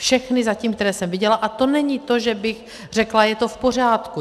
Všechny zatím, které jsem viděla - a to není to, že bych řekla: je to v pořádku.